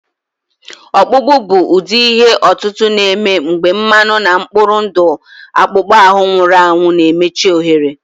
Ọkpụkpụ bụ ụdị ihe otutu na-eme mgbe mmanụ na mkpụrụ ndụ akpụkpọ ahụ nwụrụ anwụ na-emechi ohere